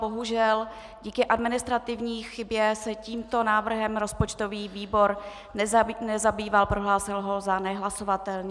Bohužel díky administrativní chybě se tímto návrhem rozpočtový výbor nezabýval, prohlásil ho za nehlasovatelný.